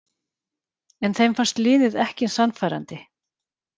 En þeim fannst liðið ekki sannfærandi